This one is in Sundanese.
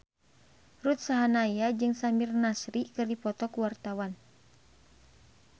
Ruth Sahanaya jeung Samir Nasri keur dipoto ku wartawan